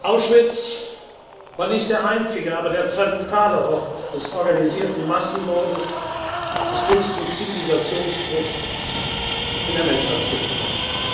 wird. Auschwitz war nicht der einzige, aber der zentrale Ort des organisierten Massenmordes, des schlimmsten Zivilisationsbruchs in der Menschheitsgeschichte.